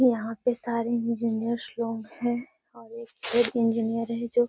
यहाँ पे सारे इंजीनियर लोग हैं और एक इंजीनियर है जो --